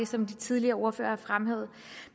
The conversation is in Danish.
som de tidligere ordførere har fremhævet